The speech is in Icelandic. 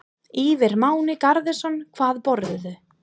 Ívar Máni Garðarsson Hvað borðarðu?